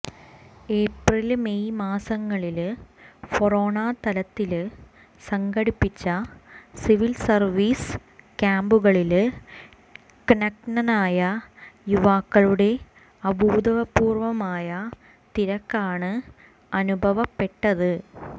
April May മാസങ്ങളില് ഫൊറോനാതലത്തില് സംഘടിപ്പിച്ച സിവില് സര്വീസ് ക്യാമ്പുകളില് ക്നാനായ യുവാക്കളുടെ അഭൂതപൂര്വമായ തിരക്കാണ് അനുഭവപ്പെട്ടത്